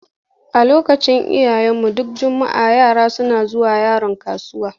A lokacin iyayenmu, duk juma'a yara suna zuwa Yaron kasuwa.